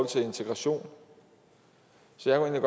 til integration så jeg